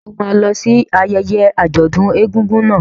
Ǹjẹ́ o máa lọ sí ayẹyẹ àjọ̀dún egúngún náà?